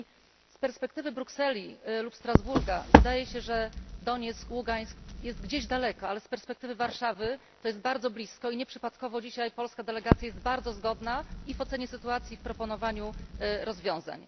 I z perspektywy Brukseli lub Strasburga wydaje się, że Donieck, Ługańsk jest gdzieś daleko, ale z perspektywy Warszawy to jest bardzo blisko i nieprzypadkowo dzisiaj polska delegacja jest bardzo zgodna i w ocenie sytuacji, i w proponowaniu rozwiązań.